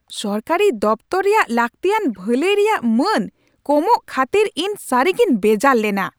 ᱥᱚᱨᱠᱟᱨᱤ ᱫᱚᱯᱷᱛᱚᱨ ᱨᱮᱭᱟᱜ ᱞᱟᱹᱠᱛᱤᱭᱟᱱ ᱵᱷᱟᱹᱞᱟᱹᱭ ᱨᱮᱭᱟᱜ ᱢᱟᱹᱱ ᱠᱚᱢᱚᱜ ᱠᱷᱟᱹᱛᱤᱨ ᱤᱧ ᱥᱟᱹᱨᱤᱜᱤᱧ ᱵᱮᱡᱟᱨ ᱞᱮᱱᱟ ᱾